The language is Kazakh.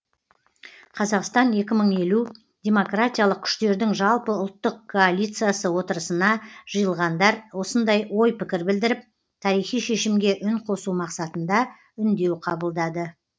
қазақстан екі мың елу демократиялық күштердің жалпыұлттық коалициясы отырысына жиылғандар осындай ой пікір білдіріп тарихи шешімге үн қосу мақсатында үндеу қабылдады